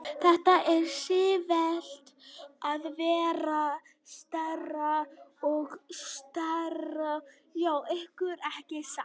Þetta er sífellt að verða stærra og stærra hjá ykkur, ekki satt?